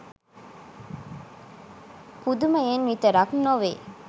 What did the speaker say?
පුදුමයෙන් විතරක් නොවේ.